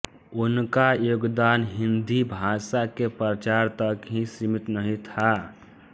उनका योगदान हिंदीभाषा के प्रचार तक ही सीमित नहीं था